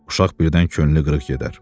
Uşaq birdən könlü qırıq gedər.